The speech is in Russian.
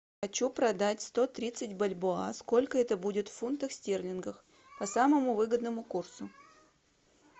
хочу продать сто тридцать бальбоа сколько это будет в фунтах стерлингов по самому выгодному курсу